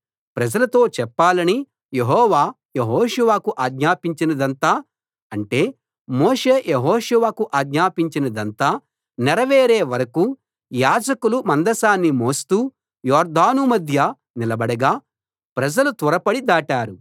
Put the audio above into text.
ప్రజలతో చెప్పాలని యెహోవా యెహోషువకు ఆజ్ఞాపించినదంతా అంటే మోషే యెహోషువకు ఆజ్ఞాపించినదంతా నెరవేరే వరకూ యాజకులు మందసాన్ని మోస్తూ యొర్దాను మధ్య నిలబడగా ప్రజలు త్వరపడి దాటారు